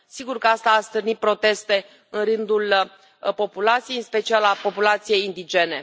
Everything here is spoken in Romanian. Sigur că asta a stârnit proteste în rândul populației, în special al populației indigene.